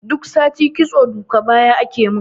Duk sati kitso duka baya akemin